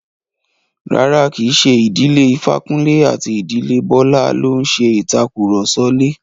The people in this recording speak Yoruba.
Rárá, kí í ṣe ìdílé Ifákúnlé àti ìdílé Bọ́lá ló ń ṣe ìtàkurọ̀sọ lè.